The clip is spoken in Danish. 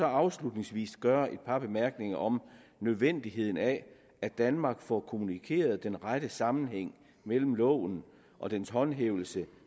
afslutningsvis gøre et par bemærkninger om nødvendigheden af at danmark får kommunikeret den rette sammenhæng mellem loven og dens håndhævelse